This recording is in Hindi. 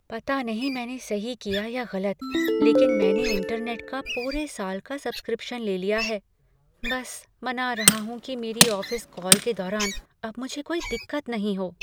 पता नहीं मैंने सही किया या गलत, लेकिन मैंने इंटरनेट का पूरे साल का सब्सक्रिप्शन ले लिया है, बस मना रहा हूँ कि मेरी ऑफिस कॉल के दौरान अब मुझे कोई दिक्कत नहीं हो।